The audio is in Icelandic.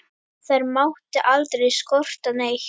Þær mátti aldrei skorta neitt.